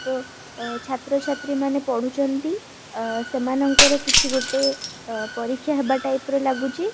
ତ ଅ ଛାତ୍ରଛାତ୍ରୀ ମାନେ ପଢୁଚନ୍ତି ଆ ସେମାନଙ୍କର କିଛି ଗୋଟେ ଅ ପରୀକ୍ଷା ହେବା ଟାଇପ୍ ର ଲାଗୁଚି।